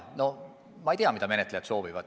No ma ei tea, mida menetlejad soovivad.